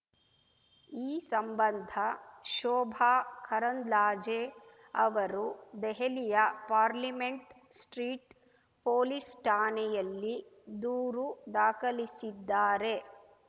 ಈ ಸಂಬಂಧ ಶೋಭಾ ಕರಂದ್ಲಾಜೆ ಅವರು ದೆಹಲಿಯ ಪಾರ್ಲಿಮೆಂಟ್‌ ಸ್ಟ್ರೀಟ್‌ ಪೊಲೀಸ್‌ ಠಾಣೆಯಲ್ಲಿ ದೂರು ದಾಖಲಿಸಿದ್ದಾರೆ